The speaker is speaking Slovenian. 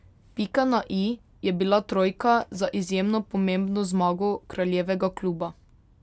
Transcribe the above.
Pika na i je bila trojka za izjemno pomembno zmago kraljevega kluba.